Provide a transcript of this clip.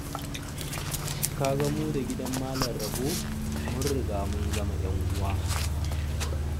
Ka ga mu da gidan Malam Rabo mun riga mu zaman ƴan'uwa.